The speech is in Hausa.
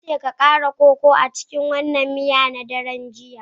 Na ce ka kara koko a cikin wannan miya a daren jiya.